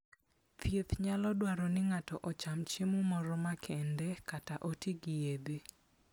Thieth nyalo dwaro ni ng'ato ocham chiemo moro makende kata oti gi yedhe.